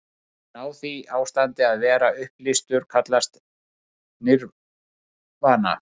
Að ná því ástandi, að vera upplýstur, kallast nirvana.